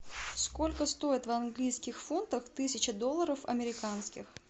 сколько стоит в английских фунтах тысяча долларов американских